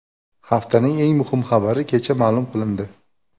Haftaning eng muhim xabari kecha ma’lum qilindi .